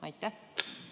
Aitäh!